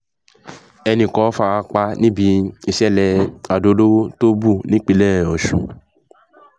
ẹnì kan fara pa níbi ìsẹ̀lẹ̀ àdó-olóró tó bù nípínlẹ̀ ọ̀sùn